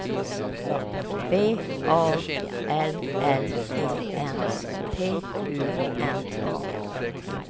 V A L L E N T U N A